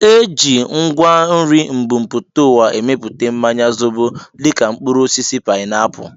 Eji ngwa nri mbumputauwa emeputa mmanya zobo dịka mkpụrụ osisi painapu